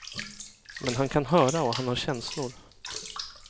Men han kan höra och han har känslor.